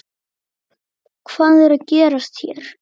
Hvað er að gerast hér?